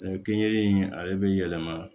kenige in ale bɛ yɛlɛma